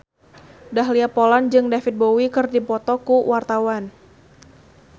Dahlia Poland jeung David Bowie keur dipoto ku wartawan